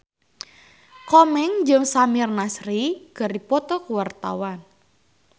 Komeng jeung Samir Nasri keur dipoto ku wartawan